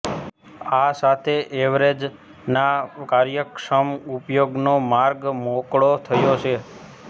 આ સાથે એરવેવ્ઝના કાર્યક્ષમ ઉપયોગનો માર્ગ મોકળો થયો છે